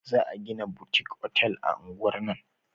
Za a gina butik otal a unguwar nan